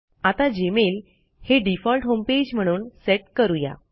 आता जीमेल हे default homepage म्हणून सेट करूया